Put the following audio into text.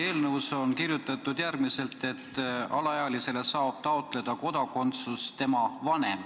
Teie eelnõus on kirjutatud, et alaealisele saab taotleda kodakondsust tema vanem.